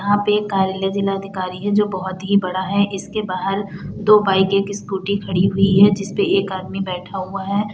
यहाँ पे कार्यालय जिलाधिकारी है जो बहुत ही बड़ा है इसके बाहर दो बाइके एक स्कूटी खड़ी हुई हैं जिस पे एक आदमी बैठा हुआ है।